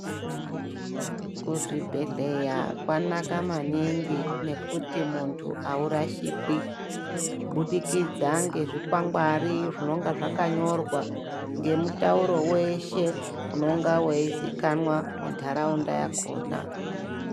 Kuzvibhedhleya kwanaka maningi nekuti muntu aurashikwi ,kubudikidza ngezvikwangwari zvinonga zvakanyorwa ,ngemutauro weshe unonga weiziikana muntaraunda yakhona.